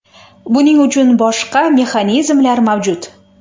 Buning uchun boshqa mexanizmlar mavjud.